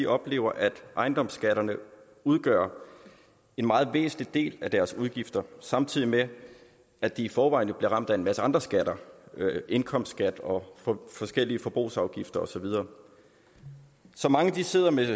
oplever at ejendomsskatterne udgør en meget væsentlig del af deres udgifter samtidig med at de i forvejen bliver ramt af en masse andre skatter indkomstskat og forskellige forbrugsafgifter og så videre så mange sidder med